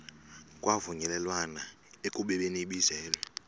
kwavunyelwana ekubeni ibizelwe